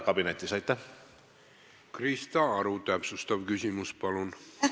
Krista Aru, täpsustav küsimus, palun!